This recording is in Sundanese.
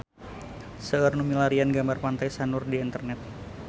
Seueur nu milarian gambar Pantai Sanur di internet